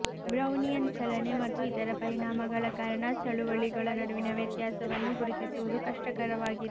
Brownian ಚಲನೆ ಮತ್ತು ಇತರ ಪರಿಣಾಮಗಳ ಕಾರಣ ಚಳುವಳಿಗಳ ನಡುವಿನ ವ್ಯತ್ಯಾಸವನ್ನು ಗುರುತಿಸುವುದು ಕಷ್ಟಕರವಾಗಿದೆ